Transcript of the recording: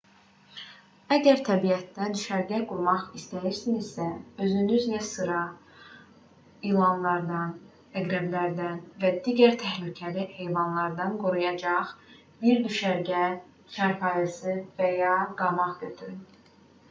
əgər təbiətdə düşərgə qurmaq istəyirsinizsə özünüzlə sizi ilanlardan əqrəblərdən və digər təhlükəli heyvanlardan qoruyacaq bir düşərgə çarpayısı və ya qamaq götürün